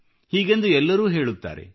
ಹೀಗೆಂದು ಎಲ್ಲರೂ ಹೇಳುತ್ತಾರೆ